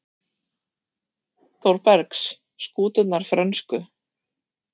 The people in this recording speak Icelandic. Þórbergs: skúturnar frönsku.